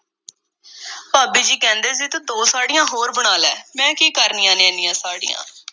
ਭਾਬੀ ਜੀ ਕਹਿੰਦੇ ਸੀ ਤੂੰ ਦੋ ਸਾੜ੍ਹੀਆਂ ਹੋਰ ਬਣਾ ਲੈ, ਮੈਂ ਕੀ ਕਰਨੀਆਂ ਨੇ, ਐਨੀਆਂ ਸਾੜ੍ਹੀਆਂ?